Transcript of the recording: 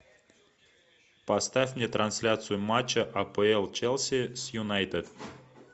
поставь мне трансляцию матча апл челси с юнайтед